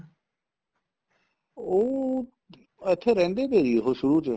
ਉਹ ਇੱਥੇ ਰਹਿੰਦੇ ਤੇ ਜੀ ਉਹ ਸ਼ੁਰੂ ਚ